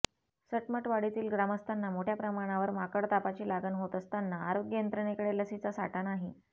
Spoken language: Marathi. सटमटवाडीतील ग्रामस्थांना मोठय़ा प्रमाणावर माकडतापाची लागण होत असताना आरोग्य यंत्रणेकडे लसीचा साठा नाही